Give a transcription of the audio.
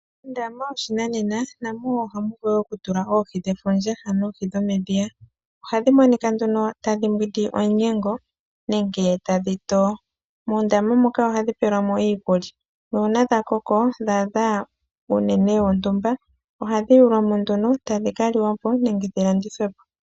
Mondama yoshinanena namo ohamu vulu oku tulwa oohi dhefundja ano oohi dhomedhiya. Ohadhi monika tadhi mbwindi omunyengo nenge tadhi to. Mondama moka ohadhi pelwamo iikulya nuuna dha koko dha adha uunene wontumba ohadhi yaulwamo nduno tadhi ka liwapo nenge dhi landithwepo.